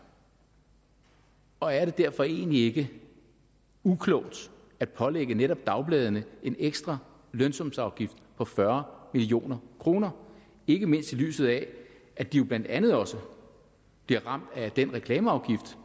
og er det derfor egentlig ikke uklogt at pålægge netop dagbladene en ekstra lønsumsafgift på fyrre million kroner ikke mindst i lyset af at de jo blandt andet også bliver ramt af den reklameafgift